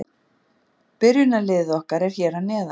Byrjunarliðið okkar er hér að neðan.